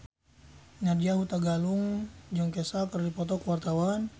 Nadya Hutagalung jeung Kesha keur dipoto ku wartawan